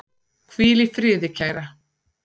Hvíl í friði, kæra.